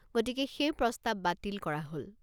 গতিকে সেই প্ৰস্তাৱ বাতিল কৰা হ'ল।